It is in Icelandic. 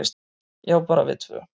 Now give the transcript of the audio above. """Já, bara við tvö."""